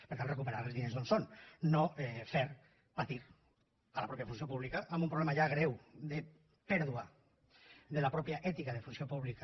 per tant recuperar els diners d’on són no fer patir la mateixa funció pública amb un problema ja greu de pèrdua de la mateixa ètica de funció pública